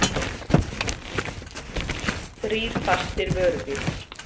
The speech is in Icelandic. Þrír fastir vörubílar